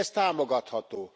Ez támogatható.